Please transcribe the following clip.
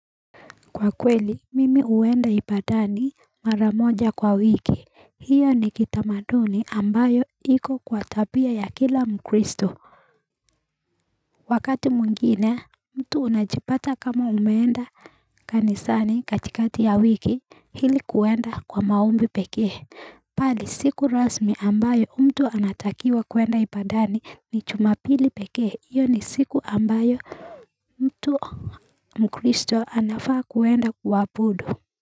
Kwakweli mimi huenda ibadani maramoja kwa wiki hiyo ni kitamaduni ambayo iko kwa tabia ya kila mkristo Wakati mwingine mtu unajipata kama umeenda kanisani katikati ya wiki ili kuenda kwa maombi pekee, bali siku rasmi ambayo mtu anatakiwa kuenda ibadani ni juma pili pekee hiyo ni siku ambayo mtu mkristo anafaa kuenda kuabudu.